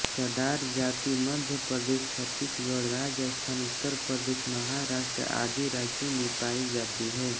चड़ार जाति मध्यप्रदेश छत्तीसगढ़ राजस्थान उत्तरप्रदेश महाराष्ट्र आदि राज्यों में पाई जाती है